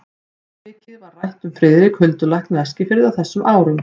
Mjög mikið var rætt um Friðrik huldulækni á Eskifirði á þessum árum.